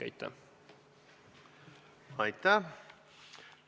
Aitäh!